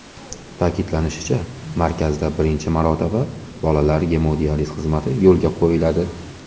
Ta’kidlanishicha, markazda birinchi marotaba bolalar gemodializ xizmati yo‘lga qo‘yiladi.